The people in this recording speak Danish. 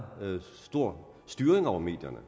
stor grad styring over medierne